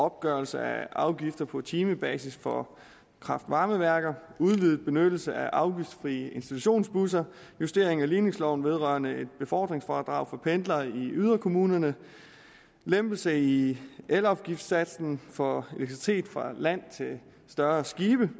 opgørelse af afgifter på timebasis for kraft varme værker udvidet benyttelse af afgiftsfrie institutionsbusser justering af ligningsloven vedrørende et befordringsfradrag for pendlere i yderkommunerne og lempelse i elafgiftssatsen for elektricitet fra land til større skibe